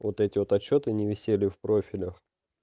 вот эти вот отчёты не висели в профилях